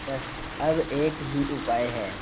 बस अब एक ही उपाय है